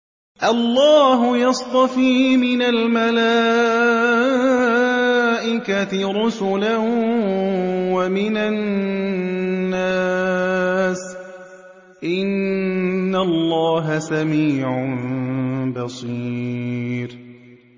اللَّهُ يَصْطَفِي مِنَ الْمَلَائِكَةِ رُسُلًا وَمِنَ النَّاسِ ۚ إِنَّ اللَّهَ سَمِيعٌ بَصِيرٌ